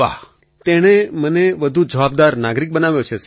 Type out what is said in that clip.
અખિલ તેણે મને વધુ જવાબદાર નાગરિક બનાવ્યો છે સર